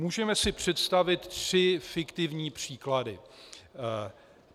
Můžeme si představit tři fiktivní příklady.